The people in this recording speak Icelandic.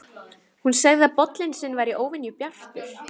Hún sagði að bollinn sinn væri óvenju bjartur.